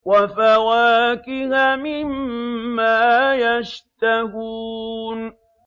وَفَوَاكِهَ مِمَّا يَشْتَهُونَ